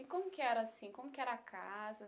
E como que era assim, como que era a casa?